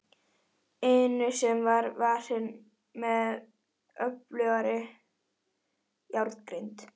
inu sem var varin með öflugri járngrind.